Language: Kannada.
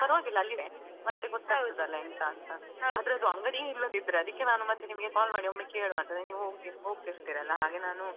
ಪರವಾಗಿಲ್ಲ ಅಲ್ಲಿನೆ ಮತ್ತೆ ಎಂತ ಅಂತ . ಆದ್ರೆ ಅದು ಅಂಗಡಿಯೇ ಇಲ್ಲದಿದ್ರೆ ಅದಿಕ್ಕೆ ನಾನು ಮತ್ತೆ ನಿಮಗೆ call ಮಾಡಿ ಕೇಳುವ ಅಂತ ನೀವ್ ಹೋಗ್~ ಹೋಗ್ತಾಯಿರ್ತೀರಲ್ಲಾ ಹಾಗೆ ನಾನು.